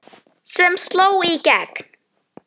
sem sló í gegn.